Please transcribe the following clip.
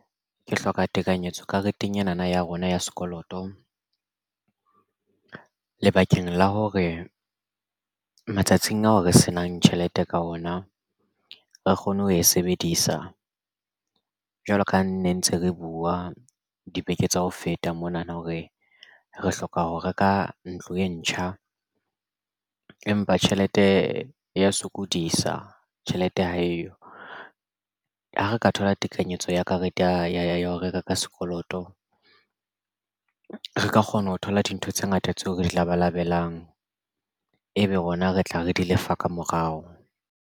Ke hloka tekanyetso kareteng ena na ya rona ya sekoloto lebakeng la hore matsatsing ao re se nang tjhelete ka ona re kgone ho e sebedisa jwalo ka nne ntse re buwa dibeke tsa ho feta mona na hore re hloka ho reka ntlo e ntjha empa tjhelete ya sokodisa tjhelete ha eyo. Ha re ka thola tekanyetso ya karete ya ho reka ka sekoloto re ka kgona ho thola dintho tse ngata tseo re di labalabelang ebe rona re tla re di lefa ka morao.